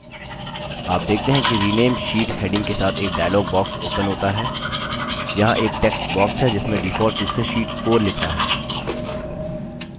आप देखते हैं कि rename sheet heading के साथ एक dialog box opens होता है यहाँ एक टेक्स्ट box है जिसमें default रूप से sheet 4 लिखा है